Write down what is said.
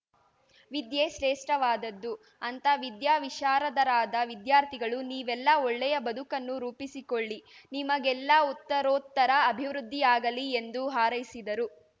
ವಿದ್ಯೆ ಶ್ರೇಷ್ಠವಾದದ್ದು ಅಂತ ವಿದ್ಯಾ ವಿಶಾರದರಾದ ವಿದ್ಯಾರ್ಥಿಗಳು ನೀವೆಲ್ಲ ಒಳ್ಳೆಯ ಬದುಕನ್ನು ರೂಪಿಸಿಕೊಳ್ಳಿ ನಿಮಗೆಲ್ಲ ಉತ್ತರೋತ್ತರ ಅಭಿವೃದ್ಧಿಯಾಗಲಿ ಎಂದು ಹಾರೈಸಿದರು